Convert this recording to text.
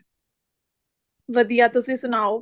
ਵਧੀਆ ਤੁਸੀਂ ਸੁਣਾਓ